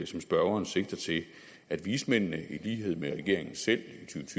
som spørgeren sigter til at vismændene i lighed med regeringen selv